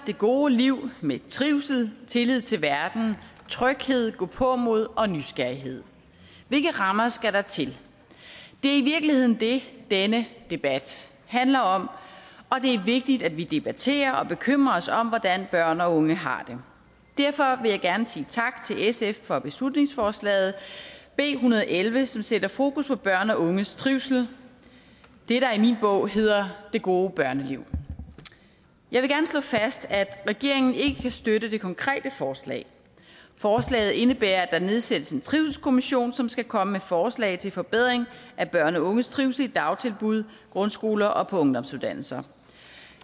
gode liv med trivsel tillid til verden tryghed gåpåmod og nysgerrighed hvilke rammer skal der til det er i virkeligheden det denne debat handler om og det er vigtigt at vi debatterer og bekymrer os om hvordan børn og unge har det derfor vil jeg gerne sige tak til sf for beslutningsforslaget b en hundrede og elleve som sætter fokus på børn og unges trivsel det der er i min bog hedder det gode børneliv jeg vil gerne slå fast at regeringen ikke kan støtte det konkrete forslag forslaget indebærer at der nedsættes en trivselskommission som skal komme med forslag til forbedring af børn og unges trivsel i dagtilbud grundskoler og på ungdomsuddannelser